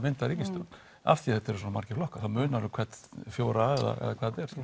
mynda ríkisstjórn af því þetta eru svona margir flokkar þá munar um hverja fjóra eða